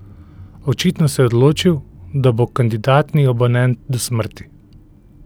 Očitno se je odločil, da bo kandidatni abonent do smrti.